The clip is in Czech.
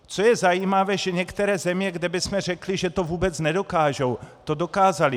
Co je zajímavé, že některé země, kde bychom řekli, že to vůbec nedokážou, to dokázaly.